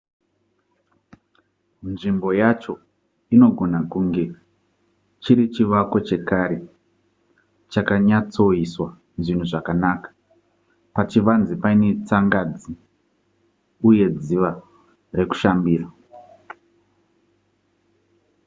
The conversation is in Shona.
nzvimbo yacho inogona kunge chiri chivako chekare chakanyatsoiswa zvinhu zvakanaka pachivanze paine tsangadzi uye dziva rekushambira